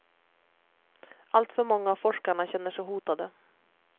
Alltför många av forskarna känner sig hotade.